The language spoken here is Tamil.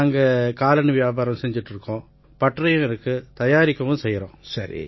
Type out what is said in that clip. நாங்க காலணி வியாபாரம் செஞ்சிட்டு இருக்கோம் பட்டறையும் இருக்கு தயாரிக்கவும் செய்யறோம்